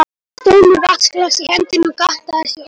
Ég stóð með vatnsglas í hendinni og gantaðist við Óma.